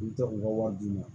U tɛ u ka wari d'u ma